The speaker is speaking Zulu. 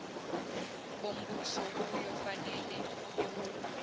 bombuso kuyofanele aholelwe